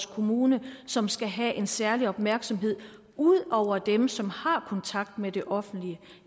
kommune som skal have en særlig opmærksomhed ud over dem som har kontakt med det offentlige